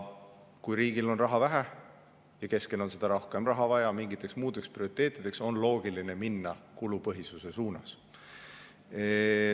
Kui riigil on raha vähe ja keskvalitsusel on rohkem raha vaja mingiteks muudeks prioriteetideks, on loogiline minna kulupõhisuse suunas.